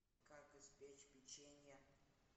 как испечь печенье